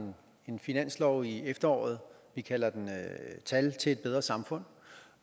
en finanslov i efteråret vi kalder den tal til et bedre samfund